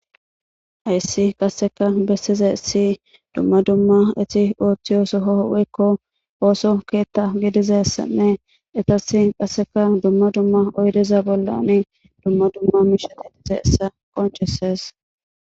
Ayssi qasseka bessiza essi dumma dumma eti ooththiyo sohoo wekko ooso keetta gidizay assane etas qasseka dumma dumma oydeza bollani dumma dumma miishadidize essa qoncesees